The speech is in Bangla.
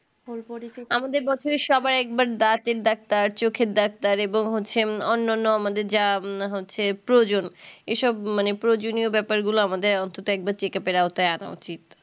আমাদের বছরে সবাই একবার দাঁতের ডাক্তার চোখের ডাক্তার এবং হচ্ছে অন্যান্য আমাদের যা হচ্ছে প্রয়োজন এসব মানে প্রয়োজনীয় ব্যাপারগুলো আমাদের অন্তত একবার check up এর আওতায় আনা উচিত